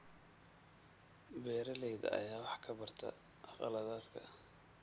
Beeralayda ayaa wax ka barta khaladaadka.